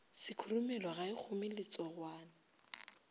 sekhurumelo ga e kgome letsogwana